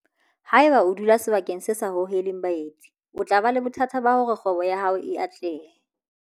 Haeba o dula sebakeng se sa hoheleng baeti o tla ba le bothata ba hore kgwebo ya hao e atlehe.